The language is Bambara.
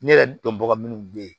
Ne yɛrɛ dɔnbaga minnu bɛ yen